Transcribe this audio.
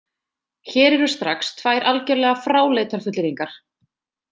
Hér eru strax tvær algerlega fráleitar fullyrðingar.